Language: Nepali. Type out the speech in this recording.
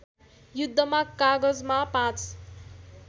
युद्धमा कागजमा ५